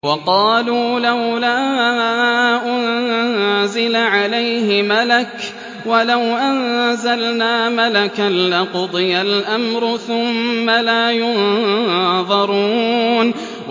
وَقَالُوا لَوْلَا أُنزِلَ عَلَيْهِ مَلَكٌ ۖ وَلَوْ أَنزَلْنَا مَلَكًا لَّقُضِيَ الْأَمْرُ ثُمَّ لَا يُنظَرُونَ